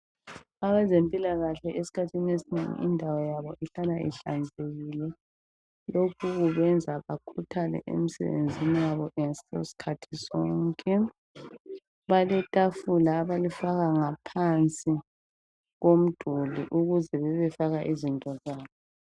Abezempilakahle esikhathini esinengi indawo yabo ihlala ihlanzekile lokhu kwenza bakhuthale emsebenzini wabo sikhathi sonke baletafula abalifaka ngaphansi komduli ukuze bebebefaka izinto zabo .